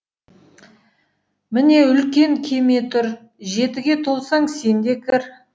міне үлкен кеме тұр жетіге толсаң сен де кір